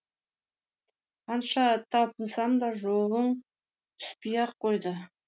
қанша талпынсам да жолым түспей ақ қойды